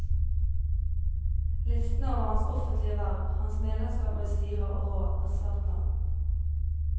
Listen over hans offentlige verv, hans medlemskap i styrer og råd, er svært lang.